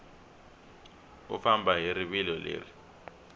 u famba hi rivilo leri